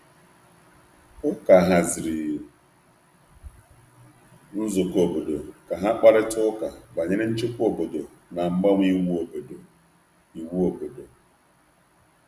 Ụka haziri nzukọ ógbè nzukọ ógbè iji kparịta nchebe ógbè na mgbanwe iwu mpaghara.